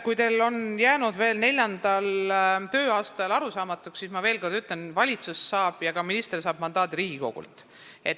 Kui teile on see jäänud siin veel neljandal tööaastal arusaamatuks, siis ma veel kord ütlen, et valitsus ja ka minister saavad mandaadi Riigikogult.